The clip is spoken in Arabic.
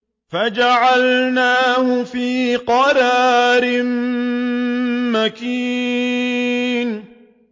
فَجَعَلْنَاهُ فِي قَرَارٍ مَّكِينٍ